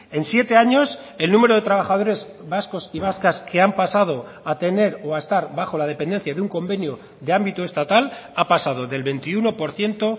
en siete años el número de trabajadores vascos y vascas que han pasado a tener o a estar bajo la dependencia de un convenio de ámbito estatal ha pasado del veintiuno por ciento